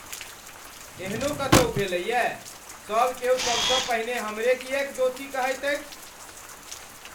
एहनो कतौ भेलैए, सभ क्यौ सबसँ पहिने हमरे किएक दोषी कहैत अछि?